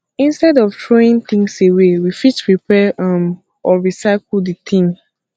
instead of throwing things away we we fit repair um or recycle di thing